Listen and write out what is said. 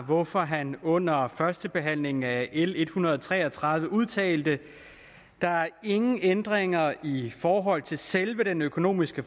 hvorfor han under førstebehandlingen af l en hundrede og tre og tredive udtalte at der er ingen ændringer i forhold til selve den økonomiske